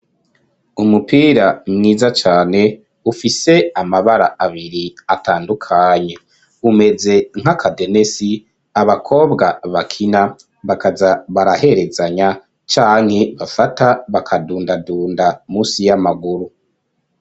Umupira mwiza cane ufise amabara abiri atandukanye, umeze nk'akadenesi abakobwa bakina bakaza baraherezanya canke bafata bakadundadunda musi y'amaguru.